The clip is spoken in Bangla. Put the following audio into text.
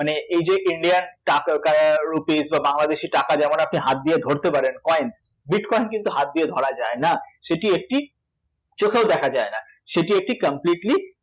মানে এই যে Indian টা ক আহ rupees বা বাংলাদেশী টাকা যেমন আপনি হাত দিয়ে ধরতে পারেন coin bitcoin কিন্তু হাত দিয়ে ধরা যায় না সে টি একটি চোখেও দেখা যায় না, সেটি একটি completely